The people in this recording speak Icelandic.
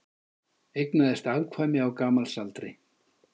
Eignaðist afkvæmi á gamalsaldri